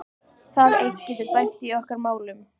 Það eitt getur dæmt í okkar málum.